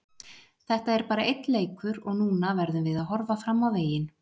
Þetta er bara einn leikur og núna verðum við að horfa fram á veginn.